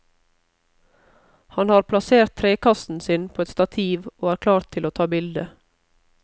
Han har plassert trekassen sin på et stativ og er klar til å ta bilde.